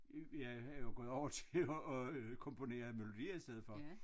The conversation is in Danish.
Jeg er jo gået over til at øh komponere melodier i stedet for